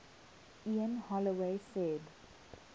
ian holloway said